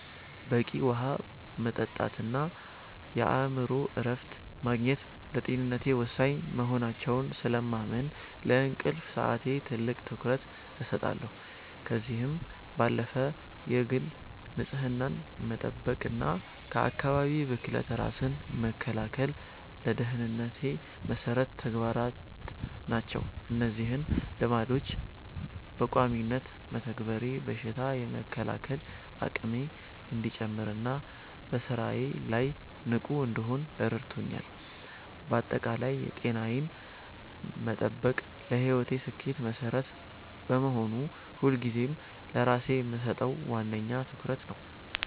በቂ ውሃ መጠጣትና የአእምሮ እረፍት ማግኘት ለጤንነቴ ወሳኝ መሆናቸውን ስለማምን፣ ለእንቅልፍ ሰዓቴ ትልቅ ትኩረት እሰጣለሁ። ከዚህም ባለፈ የግል ንጽህናን መጠበቅና ከአካባቢ ብክለት ራስን መከላከል ለደህንነቴ መሰረታዊ ተግባራት ናቸው። እነዚህን ልማዶች በቋሚነት መተግበሬ በሽታ የመከላከል አቅሜ እንዲጨምርና በስራዬ ላይ ንቁ እንድሆን ረድቶኛል። ባጠቃላይ ጤናዬን መጠበቅ ለህይወቴ ስኬት መሰረት በመሆኑ፣ ሁልጊዜም ለራሴ የምሰጠው ዋነኛ ትኩረት ነው።